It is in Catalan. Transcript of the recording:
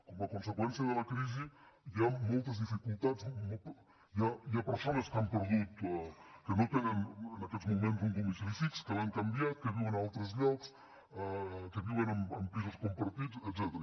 com a conseqüència de la crisi hi ha moltes dificultats hi ha persones que no tenen en aquests moments un domicili fix que l’han canviat que viuen a altres llocs que viuen en pisos compartits etcètera